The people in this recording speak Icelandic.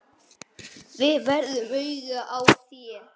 Þeir verða augun í þér.